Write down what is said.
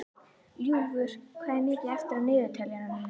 Ljúfur, hvað er mikið eftir af niðurteljaranum?